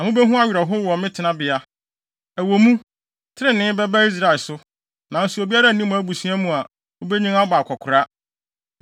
na mubehu awerɛhow wɔ me tenabea. Ɛwɔ mu, trenee bɛba Israel so, nanso obiara nni mo abusua mu a obenyin abɔ akwakoraa.